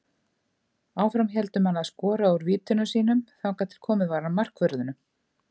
Áfram héldu menn að skora úr vítunum sínum þangað til komið var að markvörðunum.